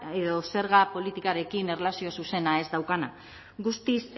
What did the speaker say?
edo zerga politikarekin erlazio zuzena ez daukana guztiz